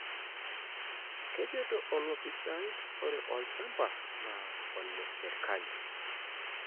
Kejoito olopisai ore olchamba naa ole serkali.